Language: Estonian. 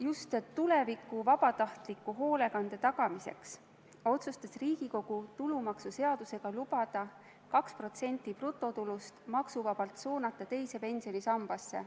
Just tuleviku vabatahtliku hoolekande tagamiseks otsustas Riigikogu tulumaksuseadusega lubada 2% brutotulust maksuvabalt suunata teise pensionisambasse.